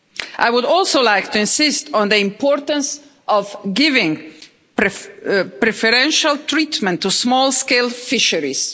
I would also like to insist on the importance of giving preferential treatment to small scale fisheries.